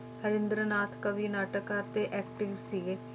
ਹਰਿੰਦਰਨਾਥ ਕਵੀ, ਨਾਟਕ ਕਾਰ ਤੇ acting ਸੀਗੇ।